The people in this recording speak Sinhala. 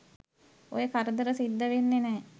ඔය කරදර සිද්ධ වෙන්නෙ නෑ.